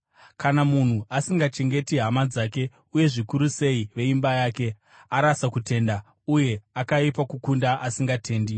Kana munhu asingachengeti hama dzake, uye zvikuru sei veimba yake, arasa kutenda, uye akaipa kukunda asingatendi.